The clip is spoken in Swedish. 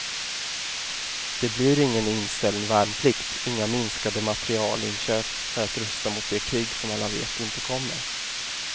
Det blir ingen inställd värnplikt, inga minskade materielinköp för att rusta mot det krig som alla vet inte kommer.